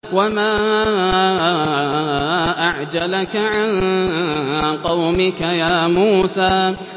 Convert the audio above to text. ۞ وَمَا أَعْجَلَكَ عَن قَوْمِكَ يَا مُوسَىٰ